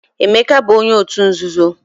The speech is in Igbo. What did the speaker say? Emeka bu onye otu nzuzo